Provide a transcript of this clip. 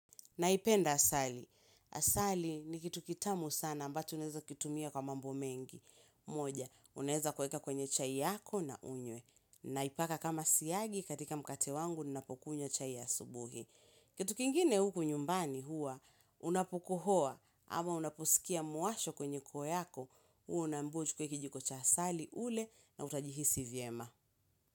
Naipenda asali. Asali ni kitu kitamu sana ambacho unaeza kitumia kwa mambo mengi. Moja, uneza kueka kwenye chai yako na unye. Naipaka kama siagi katika mkate wangu napokunywa chai asubuhi. Kitu kingine huku nyumbani huwa, unapokohoa ama unapusikia muasho kwenye koo yako, huwa unambiwa uchukue kijiko cha asali ule na utajihisi vyema.